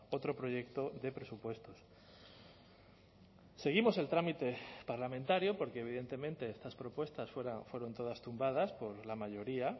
otro proyecto de presupuestos seguimos el trámite parlamentario porque evidentemente estas propuestas fueron todas tumbadas por la mayoría